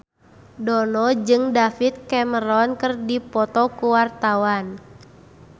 Dono jeung David Cameron keur dipoto ku wartawan